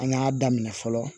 An y'a daminɛ fɔlɔ